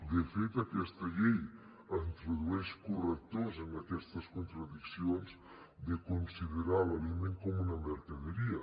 de fet aquesta llei introdueix correctors en aquestes contradiccions de considerar l’aliment com una mercaderia